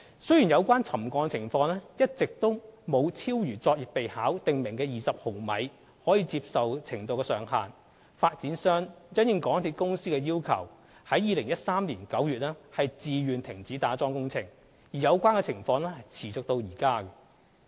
雖然有關沉降情況一直沒有超逾《作業備考》訂明的20毫米的可接受程度上限，發展商因應港鐵公司要求於2013年9月自願停止打樁工程，而有關情況持續至今。